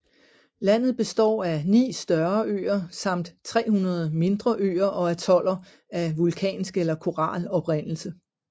Landet består af 9 større øer samt 300 mindre øer og atoller af vulkansk eller koral oprindelse